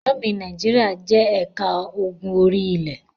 Ámì Nàìjíríà jẹ́ ẹ̀ka ogun orí-ilẹ̀.